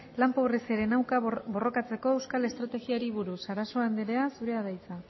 lan pobreziaren aurka borrokatzeko euskal estrategiari buruz sarasua anderea zurea da hitza